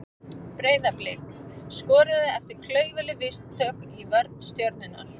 Breiðablik skoraði eftir klaufaleg mistök í vörn Stjörnunnar.